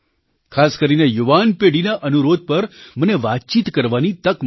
ખાસ કરીને યુવાન પેઢીના અનુરોધ પર મને વાતચીત કરવાની તક મળી છે